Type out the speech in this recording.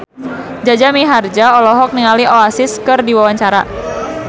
Jaja Mihardja olohok ningali Oasis keur diwawancara